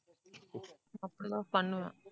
அப்படி தான் பண்ணுவேன்